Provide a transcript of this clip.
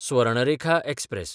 Swarnarekha express